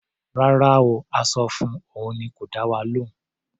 Rárá o. A sọ fun, òun ni kò dá wa lóhùn.